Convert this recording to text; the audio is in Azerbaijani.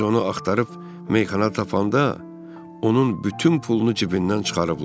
Biz onu axtarıb meyxana tapanda onun bütün pulunu cibindən çıxarıblar.